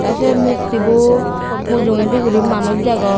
te se mukti bu mujungedi guri manuj degong.